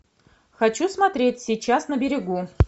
хочу смотреть сейчас на берегу